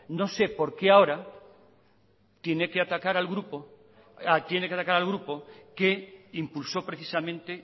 no sé por qué ahora tiene que atacar al grupo tiene que atacar al grupo que impulsó precisamente